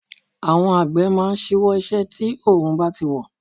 Àwọn Àgbẹ̀ máa ń ṣíwọ́ iṣẹ́ bí òórùn bá ti wọ̀.